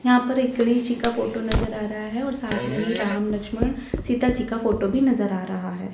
यहां पर एक गणेश जी का फोटो नजर आ रहा है और साथ में ही राम लक्ष्मण सीता जी का भी फोटो नजर आ रहा है।